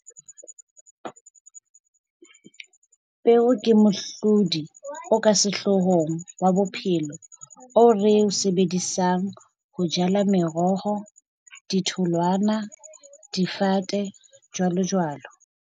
Peo ke mohlodi o ka sehloohong wa bophelo, oo re o sebedisang ho jala meroho, ditholwana, difate, jwalojwalo.